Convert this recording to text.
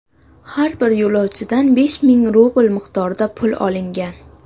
Har bir yo‘lovchidan besh ming rubl miqdorida pul olingan.